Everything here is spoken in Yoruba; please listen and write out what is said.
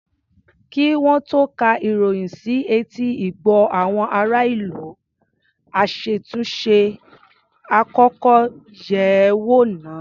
Kí wọ́n tó ka ìròyìn sí etí ìgbọ́ àwọn ará-ìlú, aṣàtúnṣe á kọ́kọ́ yẹ̀ ẹ́ wò náà.